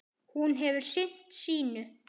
Hún hefur sinnt sínu.